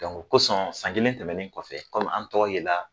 o kosɔn san kelen tɛmɛnen kɔfɛ kɔmi an tɔgɔ yela